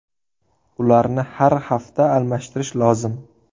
Ularni har hafta almashtirish lozim.